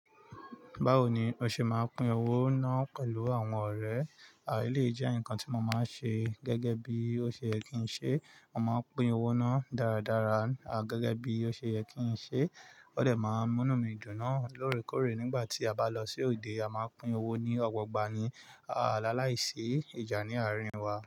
Báwo ni o ṣe máa pin owó ná pẹ̀lú àwọn ọ̀rẹ́? À eleyii jẹ́ nǹkan tí mo máa n ṣe gẹ́gẹ́ bí ó ṣe yẹ kí n ṣe. Mo máa pin owó ná dáradára gẹ́gẹ́ bí ó ṣe yẹ kí n ṣe. Ó dẹ́ máa mú inu mi dùn náà lóòrèkóòrè nígbà tí a bá lọ sí òde. A máa pin owó ní ọ̀gba ogba ni. À làláìsí ìjà ní àárín wa.